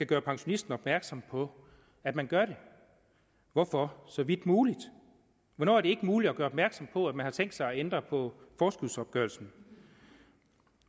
gøre pensionisten opmærksom på at man gør det hvorfor så vidt muligt hvornår er det ikke muligt at gøre opmærksom på at man har tænkt sig at ændre på forskudsopgørelsen